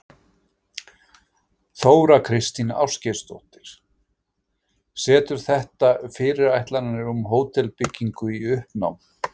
Þóra Kristín Ásgeirsdóttir: Setur þetta fyrirætlanir um hótelbyggingu í uppnám?